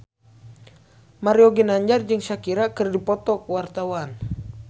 Mario Ginanjar jeung Shakira keur dipoto ku wartawan